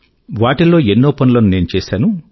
వాటిల్లో ఎన్నో పనుల ను నేను చేశాను